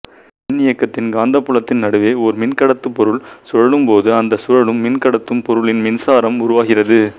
மின்னியக்கியின் காந்தப்புலத்தின் நடுவே ஓர் மின்கடத்து பொருள் சுழலும் போது அந்த சுழலும் மின் கடத்தும் பொருளில் மின்சாரம் உருவாகிறது